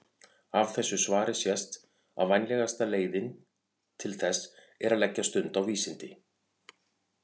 Af þessu svari sést að vænlegasta leiðin til þess er að leggja stund á vísindi.